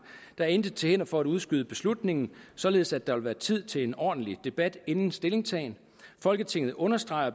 der er intet til hinder for at udskyde beslutningen således at der vil være tid til en ordentlig debat inden stillingtagen folketinget understreger